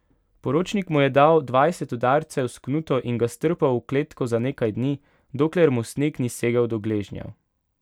Poročnik mu je dal dvajset udarcev s knuto in ga strpal v kletko za nekaj dni, dokler mu sneg ni segal do gležnjev.